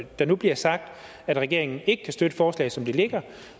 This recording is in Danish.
der nu bliver sagt at regeringen ikke kan støtte forslaget som det ligger